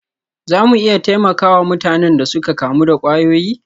Za mu iya taimaka wa mutanen da suka kamu da kwayoyi?